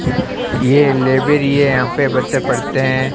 ये लाइब्रेरी है यहां पे बच्चा पढ़ते हैं।